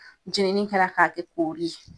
Jeninin kɛra k'a kɛ koori ye.